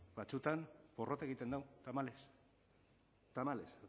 batzuetan porrot egiten du tamalez tamalez